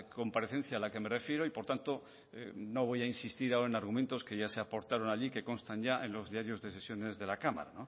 comparecencia a la que me refiero y por tanto no voy a insistir ahora en argumentos que ya se aportaron ahí que constan ya en los diarios de sesiones de la cámara